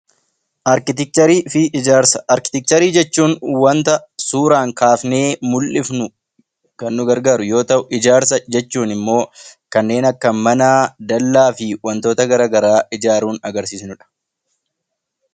Arkiteekcharii fi ijaarsa Arkiteekcharii jechuun waanta suuraan kaasnee mul'isnu, kan nu gargaaru yoo ta'u, ijaarsa jechuun immoo kanneen akka mana, dallaa fi waantota garaagaraa ijaaruun agarsiifamudha.